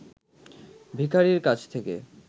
ভিখারির কাছ থেকে